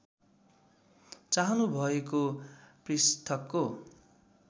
चाहनु भएको पृष्ठको